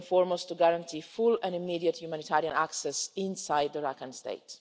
First and foremost guaranteeing full and immediate humanitarian access inside Rakhine State.